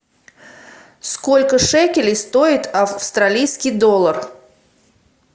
сколько шекелей стоит австралийский доллар